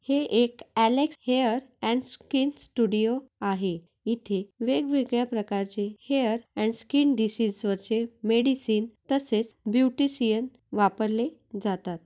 हे एक Alex hair and skin studio आहे इथे वेगवेगळ्या प्रकारचे हेयर अँड स्कीन डिसीझ वरचे मेडिसीन तसेच ब्यूटीशियन वापरले जातात.